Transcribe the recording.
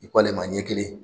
I k'ale ma ɲɛ kelen